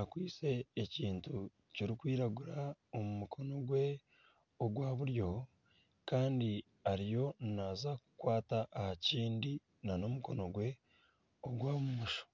akwaitse ekintu kirikwiragura omu mukono gwe ogwa buryo. Kandi ariyo naaza kukwata aha kindi n'omukono gwe ogwa bumosho.